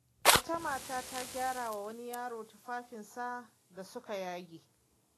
Wata mata ta gyara wa wani yaro tufafinsa da suka yage.